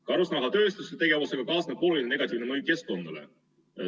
Karusnahatööstuse tegevusega kaasneb oluline negatiivne mõju keskkonnale.